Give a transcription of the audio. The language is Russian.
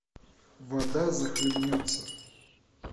вода захлебнется